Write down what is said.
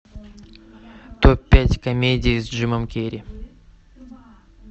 топ пять комедий с джимом керри